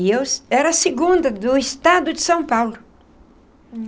E eu era a segunda do Estado de São Paulo.